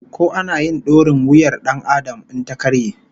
Ko ana yin dorin wuyar Dan Adam in ta karye?